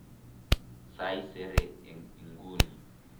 Saisere eng' inguni.